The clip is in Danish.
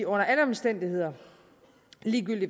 under alle omstændigheder